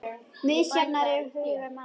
Misjafn er hugur manna